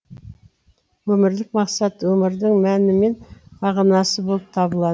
өмірлік мақсат өмірдің мәні мен мағынасы болып табылады